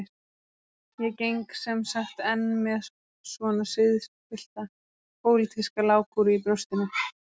Ég geng sem sagt enn með svona siðspillta pólitíska lágkúru í brjóstinu.